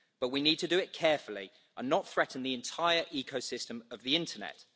But we need to do it carefully and not threaten the entire ecosystem of the internet.